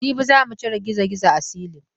Jibi za mu cire girgizo a silin.